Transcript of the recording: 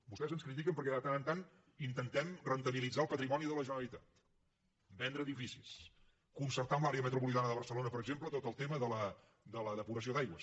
vostès ens critiquen perquè de tant en tant intentem rendibilitzar el patrimoni de la generalitat vendre edificis concertar amb l’àrea metropolitana de barcelona per exemple tot el tema de la depuració d’aigües